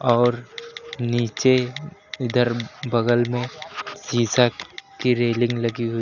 और नीचे इधर बगल में शीशा की रेलिंग लगी हुई--